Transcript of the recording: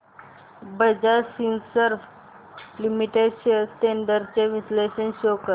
Bajaj Finserv limited shares trends चे विश्लेषण show कर